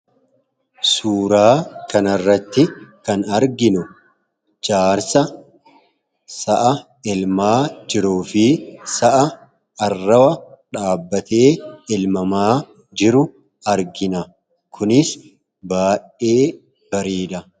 Suuraa kanarratti kan arginu jaarsa sa'a elmaa jiruu fi sa'a arrawa dhaabbatee elmamaa jiru argina. Kunis baay'ee bareeda!